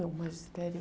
O magistério.